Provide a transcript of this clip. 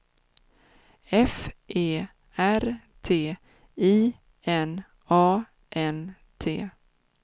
F E R D I N A N D